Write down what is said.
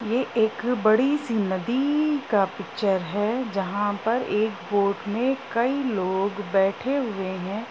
ये एक बड़ी सी नदी का पिक्चर है जहाँ पर एक बोट में कई लोग बैठे हुए हैं।